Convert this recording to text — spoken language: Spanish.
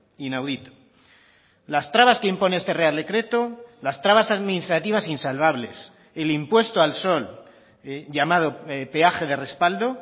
inaudito las trabas que impone este real decreto las trabas administrativas insalvables el impuesto al sol llamado peaje de respaldo